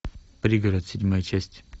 пригород седьмая часть